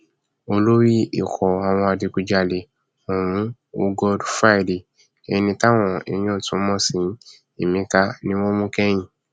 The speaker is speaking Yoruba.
olórí ikọ àwọn adigunjalè ọhún hoogod friday ẹni táwọn èèyàn tún mọ sí emeka ni wọn mú kẹyìn